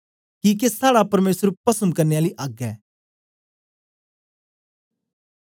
किके साड़ा परमेसर पस्म करने आली अग्ग ऐ